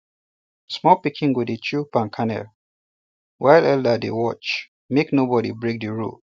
small pikin go dey chew palm kernel while elder dey watch make nobody break the rule